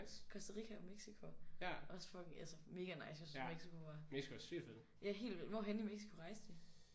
Costa Rica og Mexico også fucking altså mega nice jeg syntes Mexico var. Ja helt vild hvor henne i Mexico rejste I?